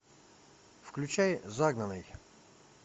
включай загнанный